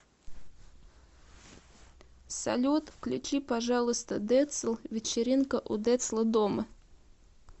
салют включи пожалуйста децл вечеринка у децла дома